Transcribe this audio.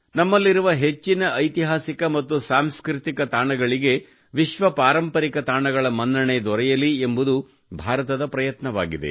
ನಮ್ಮಲಿರುವ ಹೆಚ್ಚಿನ ಐತಿಹಾಸಿಕ ಮತ್ತು ಸಾಂಸ್ಕೃತಿಕ ತಾಣಗಳಿಗೆ ವಿಶ್ವ ಪಾರಂಪರಿಕ ತಾಣಗಳ ಮನ್ನಣೆ ದೊರೆಯಲಿ ಎಂಬುದು ಭಾರತದ ಪ್ರಯತ್ನವಾಗಿದೆ